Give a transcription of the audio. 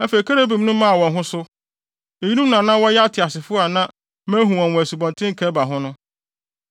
Afei kerubim no maa wɔn ho so. Eyinom na na wɔyɛ ateasefo a na mahu wɔn wɔ Asubɔnten Kebar ho no.